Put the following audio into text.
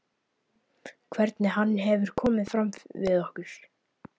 Hvernig hann hefur komið fram við okkur.